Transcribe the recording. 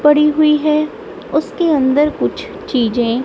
पड़ी हुई है उसके अंदर कुछ चीजें--